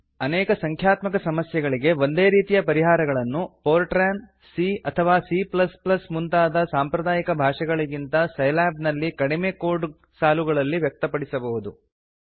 ಅನೇಕ ಸಂಖ್ಯಾತ್ಮಕ ಸಮಸ್ಯೆಗಳಿಗೆ ಒಂದೇ ರೀತಿಯ ಪರಿಹಾರಗಳನ್ನು ಫೋರ್ಟ್ರಾನ್ ಸಿ ಅಥವಾ ಸಿ ಮುಂತಾದ ಸಾಂಪ್ರದಾಯಿಕ ಭಾಷೆಗಳಿಗಿಂತ ಸೈಲ್ಯಾಬ್ ನಲ್ಲಿ ಕಡಿಮೆ ಕೋಡ್ ಸಾಲುಗಳಲ್ಲಿ ವ್ಯಕ್ತಪಡಿಸಬಹುದು